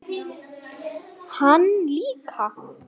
Hann líka.